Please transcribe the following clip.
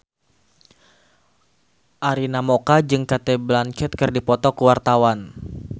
Arina Mocca jeung Cate Blanchett keur dipoto ku wartawan